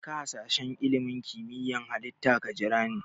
Jeka sashen ilimin kimiyyar Halitta ka jirani.